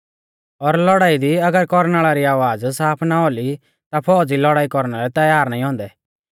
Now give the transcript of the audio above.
और लौड़ाई दी अगर कौरनाल़ री आवाज़ साफ ना औली ता फौज़ी लौड़ाई कौरना लै तैयार नाईं औन्दै